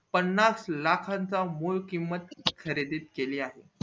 पानास लाखा चा मूळ किंमत खरेदीत गेले आहे